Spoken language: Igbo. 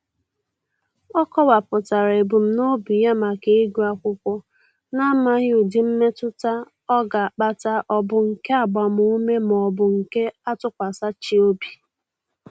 Ọ kọwapụtara ebumnobi ya maka ịgụ akwụkwọ na-amaghị ụdị mmetụta ọ ga-akpata ọ bụ nke agbamume maọbụ nke atụkwasachị obi.